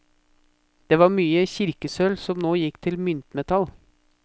Det var mye kirkesølv som nå gikk til myntmetall.